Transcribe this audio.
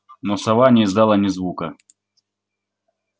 но сова не издала ни звука